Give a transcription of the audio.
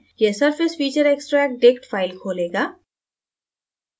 यह surfacefeatureextractdict file खोलेगा